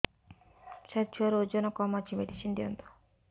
ସାର ଛୁଆର ଓଜନ କମ ଅଛି ମେଡିସିନ ଦିଅନ୍ତୁ